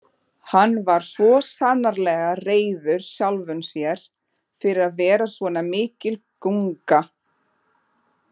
Hann var svo sannarlega reiður sjálfum sér fyrir að vera svona mikil gunga.